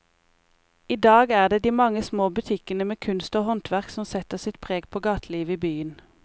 I dag er det de mange små butikkene med kunst og håndverk som setter sitt preg på gatelivet i byen.